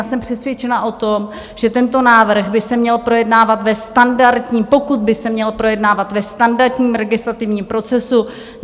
Já jsem přesvědčena o tom, že tento návrh by se měl projednávat ve standardním - pokud by se měl projednávat - ve standardním legislativním procesu.